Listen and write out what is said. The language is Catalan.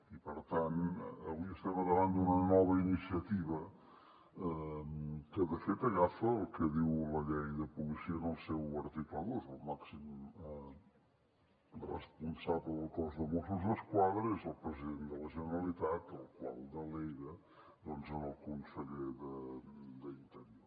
i per tant avui estem davant d’una nova iniciativa que de fet agafa el que diu la llei de policia en el seu article dos el màxim responsable del cos de mossos d’esquadra és el president de la generalitat el qual delega en el conseller d’interior